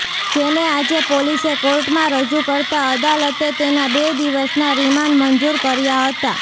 જેને આજે પોલીસે કોર્ટમાં રજૂ કરતાં અદાલતે તેના બે દિવસના રિમાન્ડ મંજૂર કર્યા હતા